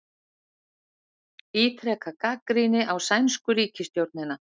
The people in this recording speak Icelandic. Ítreka gagnrýni á sænsku ríkisstjórnina